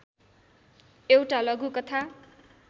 एउटा लघुकथा